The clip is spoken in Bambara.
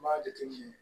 N b'a jateminɛ